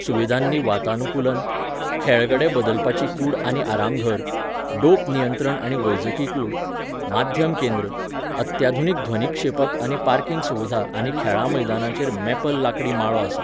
सुविधांनी वातानुकूलन, खेळगडे बदलपाची कूड आनी आरामघर, डोप नियंत्रण आनी वैजकी कूड, माध्यम केंद्र, अत्याधुनीक ध्वनीक्षेपक आनी पार्किंग सुविधा आनी खेळां मैदानाचेर मॅपल लांकडी माळो आसा.